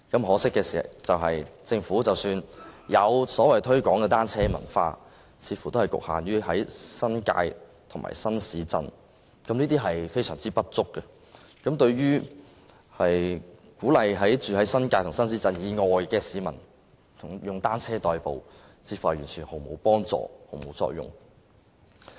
可惜的是，即使政府有所謂推廣單車文化，似乎也只局限於新界和新市鎮，非常不足夠，對於鼓勵居於新界及新市鎮以外的市民以單車代步，似乎毫無幫助。